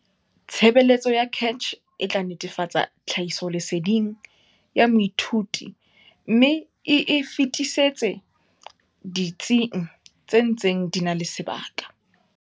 Tshebeletso ya CACH e tla netefatsa tlhahisoleseding ya moithuti mme e e fetisetse ditsing tse ntseng di na le sebaka.